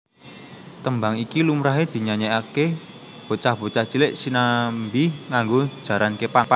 Tembang iki lumrahe dinyanyeake bocah bocah cilik sinambi nganggo jaran kepang